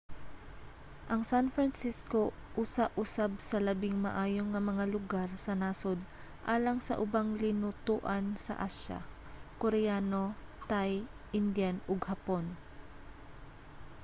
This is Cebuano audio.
ang san francisco usa usab sa labing maayo nga mga lugar sa nasod alang sa ubang linutoan sa asya: koreano thai indian ug hapon